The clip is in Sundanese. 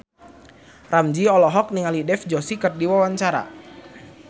Ramzy olohok ningali Dev Joshi keur diwawancara